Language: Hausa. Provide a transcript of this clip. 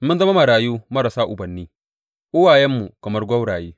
Mun zama marayu marasa ubanni, uwayenmu kamar gwauraye.